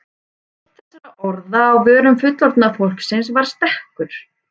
Eitt þessara orða á vörum fullorðna fólksins var stekkur.